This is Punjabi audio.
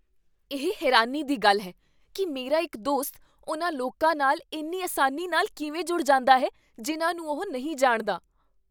ਇਹ ਹੈਰਾਨੀ ਦੀ ਗੱਲ ਹੈ ਕੀ ਮੇਰਾ ਇੱਕ ਦੋਸਤ ਉਨ੍ਹਾਂ ਲੋਕਾਂ ਨਾਲ ਇੰਨੀ ਆਸਾਨੀ ਨਾਲ ਕਿਵੇਂ ਜੁੜ ਜਾਂਦਾ ਹੈ ਜਿੰਨਾਂ ਨੂੰ ਉਹ ਨਹੀਂ ਜਾਣਦਾ।